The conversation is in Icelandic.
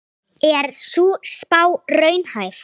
Er sú spá raunhæf?